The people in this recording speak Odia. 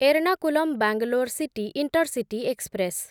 Ernakulam Bangalore city intercity express